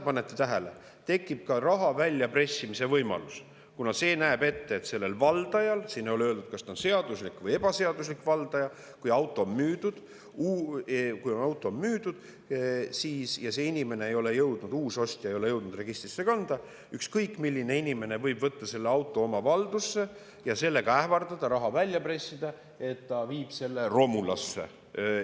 Panete tähele, tekib ka raha väljapressimise võimalus, kuna näeb ette, et sellel valdajal – siin ei ole öeldud, kas ta on seaduslik või ebaseaduslik valdaja –, kui auto on müüdud ja see inimene, ostja ei ole jõudnud seda registrisse kanda, siis ükskõik milline inimene võib võtta selle auto oma valdusse ja ähvardada raha välja pressida sellega, et ta viib selle romulasse.